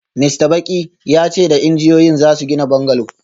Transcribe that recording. Mista Baki ya ce da injiniyoyin za su gina bungalow